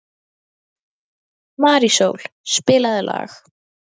Marísól, spilaðu lag.